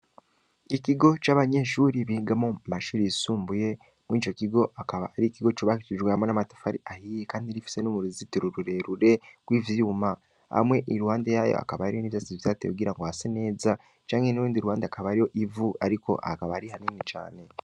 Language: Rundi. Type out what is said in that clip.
Ikigo c’abanyeshure bigamwo mumashure yisumbuye, murico kigo akaba arikigo cubakishijwe hamwe n’amatafari ahiye, Kandi rifise n’uruzitiro rurerure rw’ivyuma, hamwe iruhande yayo hakaba hari ivyatsi vyahateye kugirango hase neza, canke nurundi ruhande hakaba hari ivu ariko hakaba ari hato cane.